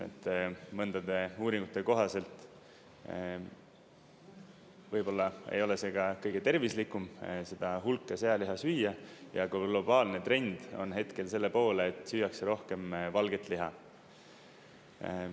Mõndade uuringute kohaselt võib-olla ei ole see ka kõige tervislikum, seda hulka sealiha süüa, ja globaalne trend on hetkel selle poole, et süüakse rohkem valget liha.